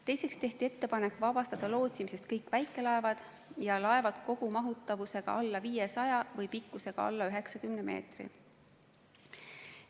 Teiseks tehti ettepanek vabastada lootsimisest kõik väikelaevad ja laevad kogumahutavusega alla 500 või pikkusega alla 90 meetri.